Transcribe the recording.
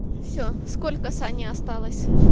все сколько саня осталось